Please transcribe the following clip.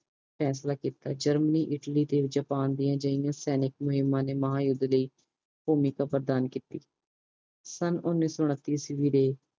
ਫੈਸਲਾ ਕੀਤਾ Germany Italy ਤੇ ਜਪਾਨ ਦੀਆਂ ਅਜੀਆਂ ਸੈਨਿਕ ਮਹਿਮਾ ਨੇ ਮਹਾ ਯੂੱਧ ਲਾਇ ਭੂਮਿਕਾ ਪ੍ਰਦਾਨ ਕੀਤੀ ਸਨ ਓਨੀ ਸੋ ਉਨਤੀ ਈਸਵੀ ਵਰੇ